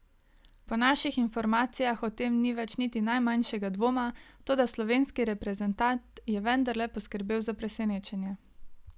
Po naših informacijah o tem ni več niti najmanjšega dvoma, toda slovenski reprezentant je vendarle poskrbel za presenečenje.